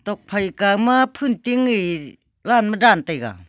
nokphai kawma phun ting e line ma dan taiga.